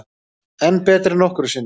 Enn betri en nokkru sinni